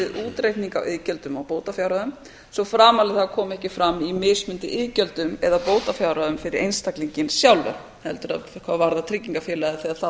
útreikninga á iðgjöldum og bótafjárhæðum svo framarlega að það komi ekki fram í mismunandi iðgjöldum eða bótafjárhæðum fyrir einstaklinginn sjálfan heldur hvað varðar tryggingafélagið þegar það